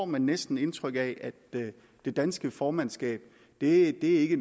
man næsten indtryk af at det danske formandskab ikke